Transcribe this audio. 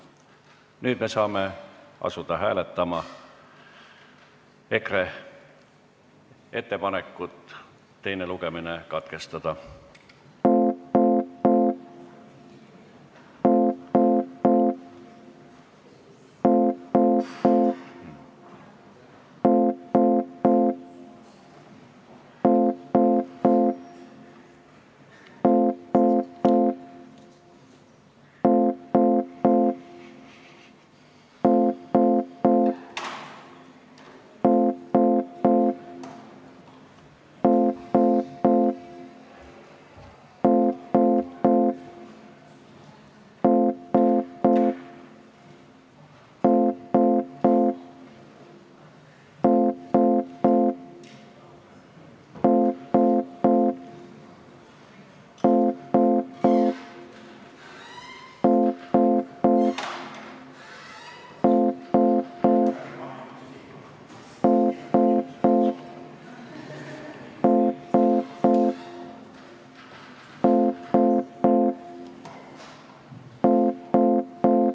Nüüd me saame asuda hääletama EKRE ettepanekut teine lugemine katkestada.